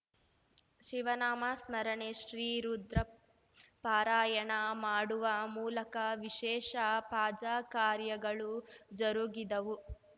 ಶಿವನಾಮ ಸ್ಮರಣೆ ಶ್ರೀ ರುದ್ರ ಪಾರಾಯಣ ಮಾಡುವ ಮೂಲಕ ವಿಶೇಷ ಫಜಾ ಕಾರ್ಯಗಳು ಜರುಗಿದವು